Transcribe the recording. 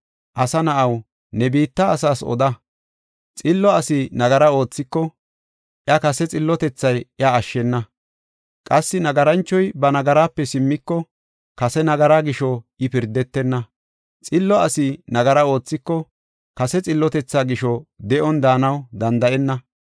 Asa na7aw, ne biitta asaas oda. “Xillo asi nagara oothiko, iya kase xillotethay iya ashshena; qassi nagaranchoy ba nagaraape simmiko, kase nagaraa gisho I pirdetenna. Xillo asi nagara oothiko, kase xillotethaa gisho de7on daanaw danda7enna.